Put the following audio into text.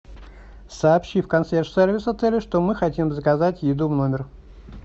сообщи в консьерж сервис отеля что мы хотим заказать еду в номер